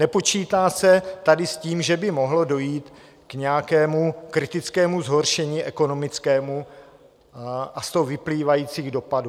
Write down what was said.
Nepočítá se tady s tím, že by mohlo dojít k nějakému kritickému zhoršení ekonomickému a z toho vyplývajícím dopadům.